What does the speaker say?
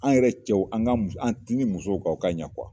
An yɛrɛ cɛw an ka an musow an tinti musow kan u ka ɲɛ kuwa.